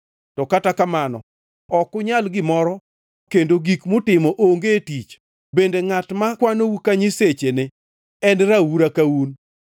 To kata kamano ok unyal gimoro kendo gik mutimo onge tich; bende ngʼat makwanou ka nyisechene en raura ka un.